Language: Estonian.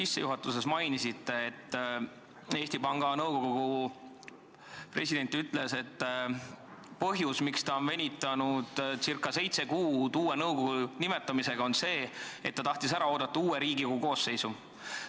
Te enne mainisite, et Eesti Panga Nõukogu president ütles, et ta venitas ca seitse kuud uue nõukogu nimetamisega, sest tahtis ära oodata Riigikogu uue koosseisu.